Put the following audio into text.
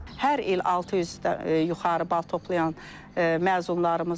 Hər il 600-dən yuxarı bal toplayan məzunlarımız olur.